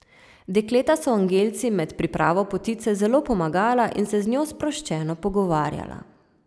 Dekleta so Angelci med pripravo potice zelo pomagala in se z njo sproščeno pogovarjala.